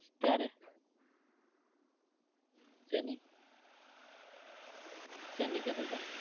ક્યારે? શેની? શેની કેતા તા